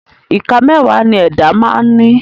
Ìka mẹ́wàá ni ẹ̀dá máa ń ní